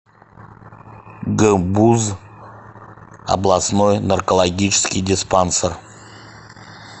гбуз областной наркологический диспансер